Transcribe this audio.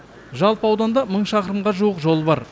жалпы ауданда мың шақырымға жуық жол бар